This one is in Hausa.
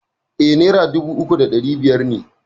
E, naira dubu uku da ɗari biyar ne.